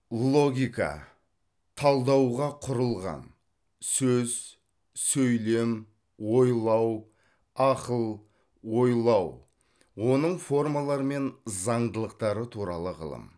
логика талдауға құрылған сөз сөйлем ойлау ақыл ойлау оның формалары мен заңдылықтары туралы ғылым